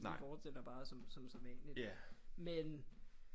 Vi fortsætter bare som som sædvanligt men